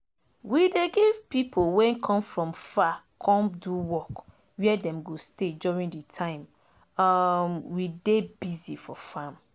we dey give pipo wey come from far come do work where dem go stay during de time um we dey busy for farm